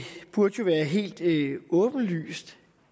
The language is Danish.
burde jo være helt åbenlyst